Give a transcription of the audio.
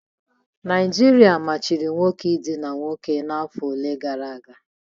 Naijiria machiri nwoke idina nwoke n'afọ ole na ole gara aga.